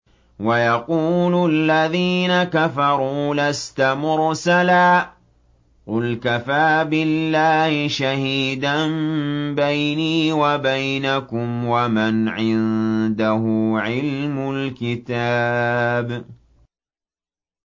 وَيَقُولُ الَّذِينَ كَفَرُوا لَسْتَ مُرْسَلًا ۚ قُلْ كَفَىٰ بِاللَّهِ شَهِيدًا بَيْنِي وَبَيْنَكُمْ وَمَنْ عِندَهُ عِلْمُ الْكِتَابِ